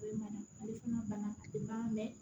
ale fana banna ale ma mɛn